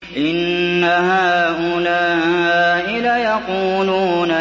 إِنَّ هَٰؤُلَاءِ لَيَقُولُونَ